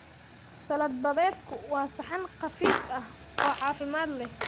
Salad badeedku waa saxan khafiif ah oo caafimaad leh.